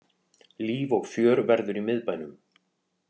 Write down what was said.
Líf og fjör verður í miðbænum